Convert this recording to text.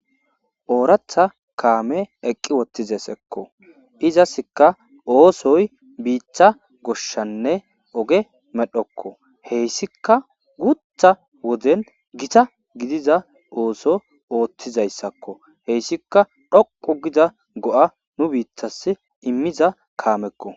Oratha kamey eqi utidesikko izzasika osoy bita goshanne oge medhokko heysikka gutha woden gita gidida osso othizaysakok heysikka dhoqu gida go'a nubitas imida kamekko.